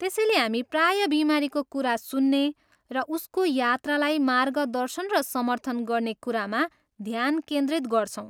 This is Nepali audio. त्यसैले हामी प्रायः बिमारीको कुरा सुन्ने र उसको यात्रालाई मार्गदर्शन र समर्थन गर्ने कुरामा ध्यान केन्द्रित गर्छौँ।